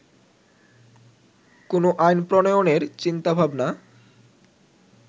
কোন আইন প্রণয়নের চিন্তা ভাবনা